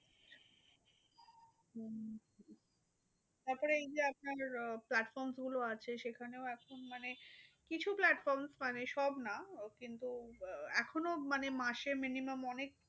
তারপরে এই যে আপনার আহ platfroms গুলো আছে। সেখানেও আপনি মানে কিছু platforms মানে সব না। কিন্তু আহ এখনো মানে মাসে minimum অনেক